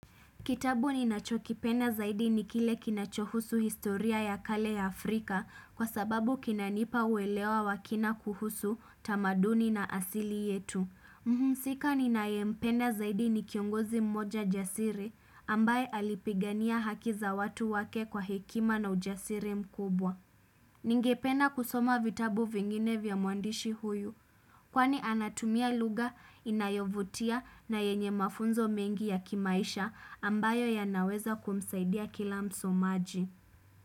Kitabu ninachokipenda zaidi ni kile kinachohusu historia ya kale ya Afrika kwa sababu kinanipa uelewa wa kina kuhusu tamaduni na asili yetu. Mhusika ninayempenda zaidi ni kiongozi mmoja jasiri ambaye alipigania haki za watu wake kwa hekima na ujasiri mkubwa. Ningepena kusoma vitabu vingine vya muandishi huyu. Kwani anatumia lugha inayovutia na yenye mafunzo mengi ya kimaisha ambayo yanaweza kumsaidia kila msomaji.